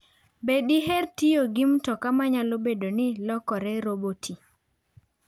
Be diher tiyo gi mtoka manyalo bedo ni lokore roboti?